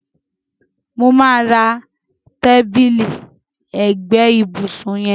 Mo máa ra tábìlì ẹgbẹ́ ìbùsùn yẹn.